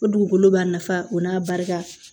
O dugukolo b'a nafa o n'a barika